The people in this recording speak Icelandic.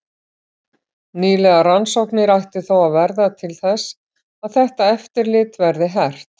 Nýlegar rannsóknir ættu þó að verða til þess að þetta eftirlit verði hert.